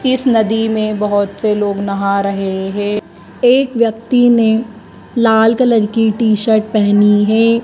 इस नदी में बहुत से लोग नहा रहे हैं। एक व्यक्ति ने लाल कलर की टी-शर्ट पहनी है।